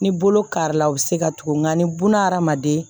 Ni bolo kari la a bɛ se ka tugun nka ni buna hadamaden